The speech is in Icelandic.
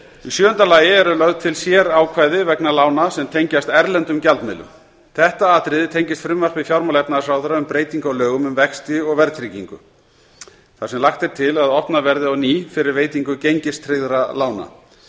sjöunda lögð eru til sérákvæði vegna lána sem tengjast erlendum gjaldmiðlum þetta atriði tengist frumvarpi fjármála og efnahagsráðherra um breytingu á lögum um vexti og verðtryggingu þar sem lagt er til að opnað verði á ný fyrir veitingu gengistryggðra lána